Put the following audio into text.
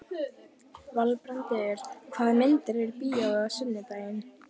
Valbrandur, hvaða myndir eru í bíó á sunnudaginn?